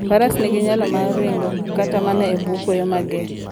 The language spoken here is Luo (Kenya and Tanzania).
Faras nigi nyalo mar ringo kata mana e bwo kuoyo mager.